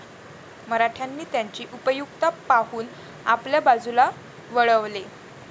मराठ्यांनी त्यांची उपयुक्तता पाहून आपल्या बाजूला वळवले.